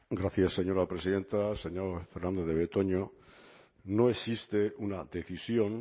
gracias señora presidenta señor fernandez de betoño no existe una decisión